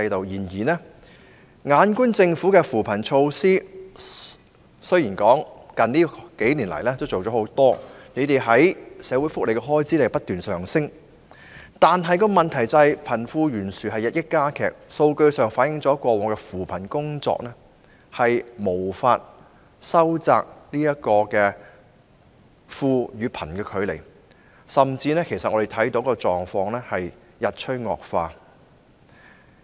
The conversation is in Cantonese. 然而，政府雖然在近年推行不少扶貧工作和措施，社會福利方面的開支亦不斷上升，但問題是貧富懸殊日益加劇，數據反映了過往的扶貧工作無法收窄貧富差距，我們甚至看到情況日趨惡化。